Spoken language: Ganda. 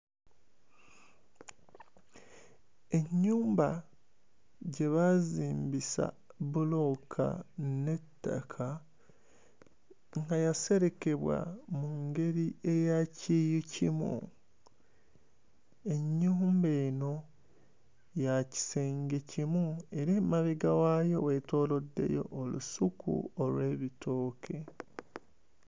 Ennyumba gye baazimbisa bbulooka n'ettaka nga yaserekebwa mu ngeri eya kyuyikimu. Ennyumba eno ya kisenge kimu era emabega waayo weetooloddeyo olusuku olw'ebitooke.